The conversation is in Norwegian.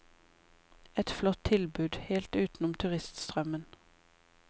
Et flott tilbud, helt utenom turiststrømmen.